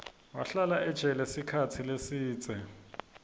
wahlala ejele sikhatsi lesidze